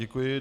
Děkuji.